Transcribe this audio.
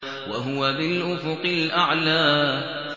وَهُوَ بِالْأُفُقِ الْأَعْلَىٰ